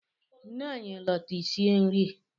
Nne anyị lọta i sie nri!